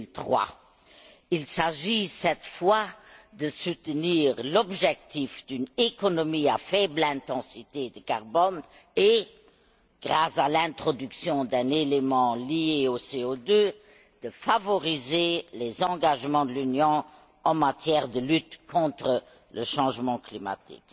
2003. Il s'agit cette fois de soutenir l'objectif d'une économie à faible intensité de carbone et, grâce à l'introduction d'un élément lié au CO2, de favoriser les engagements de l'Union en matière de lutte contre le changement climatique.